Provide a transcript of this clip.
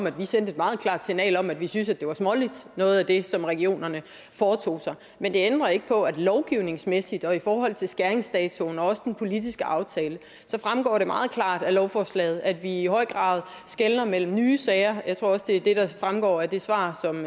at vi sendte et meget klart signal om at vi syntes noget af det regionerne foretog sig var men det ændrer ikke på at lovgivningsmæssigt og i forhold til skæringsdatoen og også den politiske aftale fremgår det meget klart af lovforslaget at vi i høj grad skelner mellem nye sager jeg tror også det er det der fremgår af det svar som